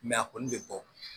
a kɔni bɛ bɔ